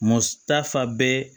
Mutafɛbe